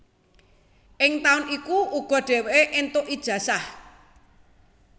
Ing taun iku uga dheweke entuk ijazah